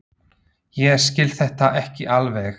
Ég skil þetta ekki alveg.